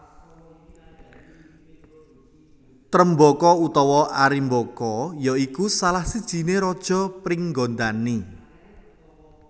Trembaka utawa Arimbaka ya iku salah sijiné raja Pringgandani